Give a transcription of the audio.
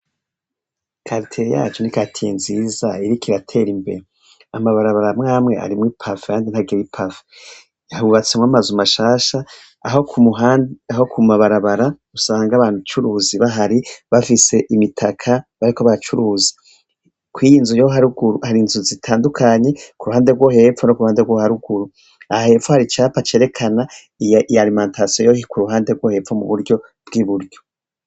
Karitiri yacu ni katiye nziza irika irater imbe amabarabara mwamwe arimwo i pafu yandi ntagebipafu yahubatsemwo amaze umashasha aho kumuhandi aho ku mabarabara usanga abanucuruzi bahari bafise imitaka bariko bacuruzi kw'iyinzu yo haruguru ari inzu zitandukanye ku ruhande rwo hepfo no ku ruhande rwo haruguru aha hepfwari icapa acerekana iyalimantaso yohi ku ruhande rwo hepfo mu buryo bw'i buryo.